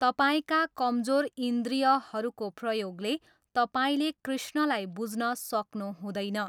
तपाईँका कमजोर इन्द्रियहरूको प्रयोगले तपाईँले कृष्णलाई बुझ्न सक्नुहुँदैन।